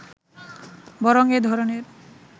বরং এ ধরনের